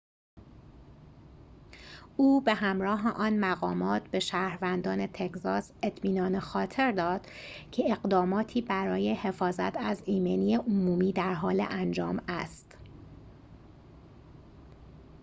او به همراه آن مقامات به شهروندان تگزاس اطمینان خاطر داد که اقداماتی برای حفاظت از ایمنی عمومی در حال انجام است